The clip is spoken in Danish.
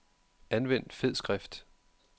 Anvend fed skrift.